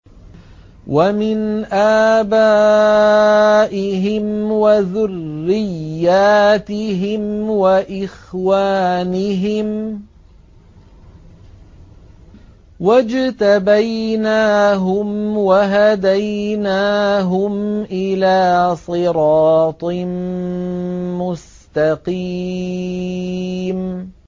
وَمِنْ آبَائِهِمْ وَذُرِّيَّاتِهِمْ وَإِخْوَانِهِمْ ۖ وَاجْتَبَيْنَاهُمْ وَهَدَيْنَاهُمْ إِلَىٰ صِرَاطٍ مُّسْتَقِيمٍ